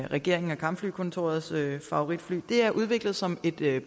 regeringens og kampflykontorets favoritfly at det er udviklet som et